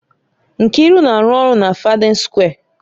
Nkiru na-arụ ọrụ na Fádén Sukwé